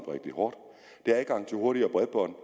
rigtig hårdt det er adgang til hurtigere bredbånd